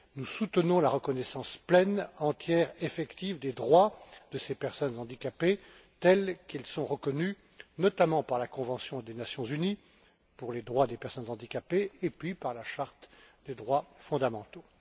Nous soutenons la reconnaissance pleine, entière et effective des droits de ces personnes handicapées, tels qu'ils sont reconnus, notamment par la convention des Nations unies pour les droits des personnes handicapées, et par la charte des droits fondamentaux.